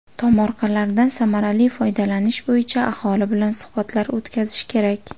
Tomorqalardan samarali foydalanish bo‘yicha aholi bilan suhbatlar o‘tkazish kerak.